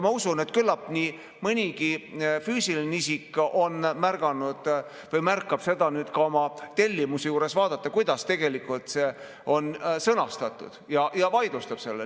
Ma usun, et küllap nii mõnigi füüsiline isik on märganud või märkab nüüd ka oma tellimusel vaadata, kuidas see tegelikult on sõnastatud, ja vaidlustab selle.